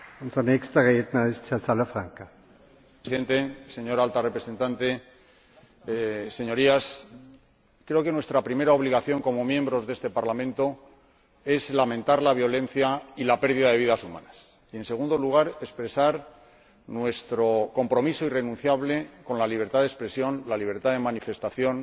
Señor Presidente, señora Alta Representante, Señorías, creo que nuestra primera obligación como miembros de este Parlamento es lamentar la violencia y la pérdida de vidas humanas y, en segundo lugar, expresar nuestro compromiso irrenunciable con la libertad de expresión, la libertad de manifestación,